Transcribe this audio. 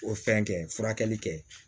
O fɛn kɛ furakɛli kɛ